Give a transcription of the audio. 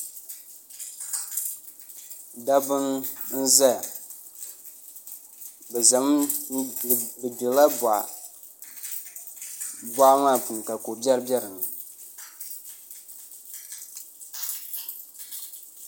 dabba n-zaya bɛ gbirila bɔɣa bɔɣa maa puuni ka ko'biɛri be di ni